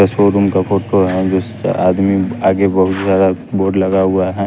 ये शोरूम का फोटो है जिसपे आदमी आगे बहुत बड़ा बोर्ड लगा हुआ है।